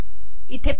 इथे पहा